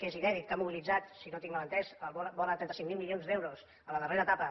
que és inèdit que ha mobilitzat si no ho tinc mal entès vora de trenta cinc mil milions d’euros en la darrera etapa